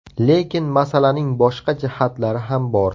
Lekin masalaning boshqa jihatlari ham bor.